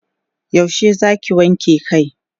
yaushe Zaki wanke Kai?